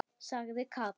sagði Kata.